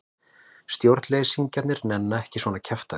Stjórnleysingjar nenna ekki svona kjaftæði.